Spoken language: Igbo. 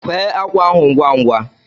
Kwee ákwà ahụ ngwa ngwa!